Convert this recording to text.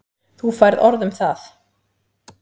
Þú færð orð um það.